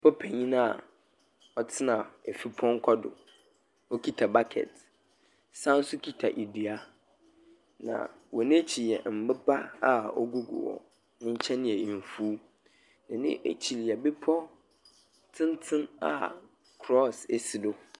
Papa panyin a ɔtena efrupɔnkɔ do. Okita bakɛt. Ɔsan so kita adua. Na wɔn akyi yɛ mboba a ogu gu hɔ. Nkyɛn yɛ mfuw. Wɔn akyi yɛ bepɔw tenten a krɔs esi do.